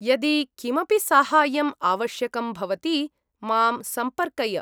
यदि किमपि साहाय्यम् आवश्कयं भवति, मां सम्पर्कय।